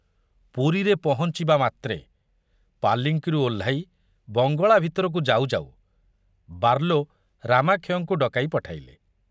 ପୁରୀରେ ପହଞ୍ଚିବା ମାତ୍ରେ ପାଲିଙ୍କିରୁ ଓହ୍ଲାଇ ବଙ୍ଗଳା ଭିତରକୁ ଯାଉ ଯାଉ ବାର୍ଲୋ ରାମାକ୍ଷୟଙ୍କୁ ଡକାଇ ପଠାଇଲେ।